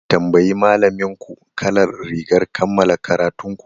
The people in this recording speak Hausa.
Tambayi malaminku kalar rigar kammala karatun ku!